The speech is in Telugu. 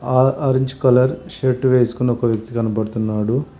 ఆ ఆరెంజ్ కలర్ షర్ట్ వేసుకున్న ఒక వ్యక్తి కనబడుతున్నాడు.